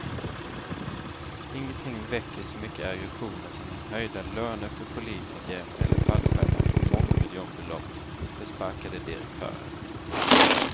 Ingenting väcker så mycket aggressioner som höjda löner för politiker eller fallskärmar på mångmiljonbelopp för sparkade direktörer.